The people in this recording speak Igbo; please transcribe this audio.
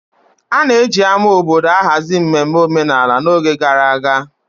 A na-eji ama obodo ahazi mmemme omenala n'oge gara aga.